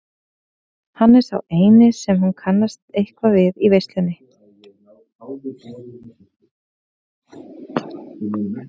Hann er sá eini sem hún kannast eitthvað við í veislunni.